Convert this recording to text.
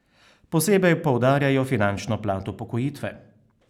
Posebej poudarjajo finančno plat upokojitve.